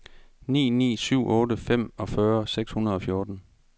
ni ni syv otte femogfyrre seks hundrede og fjorten